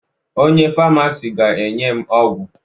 Onye famasi ga-enye m ọgwụ